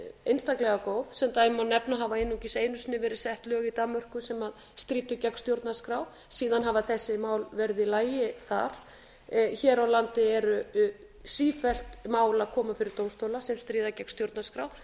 einstaklega góð sem dæmi má nefna að það hafa einungis einu sinni verið sett lög í danmörku sem stríddu gegn stjórnarskrá síðan hafa þessi mál verið í lagi þar hér á landi eru sífellt mál að koma fyrir dómstóla sem stríða gegn stjórnarskrá